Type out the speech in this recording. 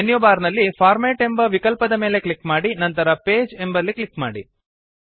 menu bar ನಲ್ಲಿ format ಎಂಬ ವಿಕಲ್ಪದ ಮೇಲೆ ಕ್ಲಿಕ್ ಮಾಡಿ ನಂತರ ಪೇಜ್ ಎಂಬಲ್ಲಿ ಕ್ಲಿಕ್ ಮಾಡಿ